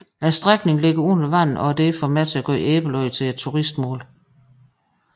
Strækningen ligger under vand og er derfor med til at gøre Æbelø til et turistmål